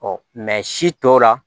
si tɔw la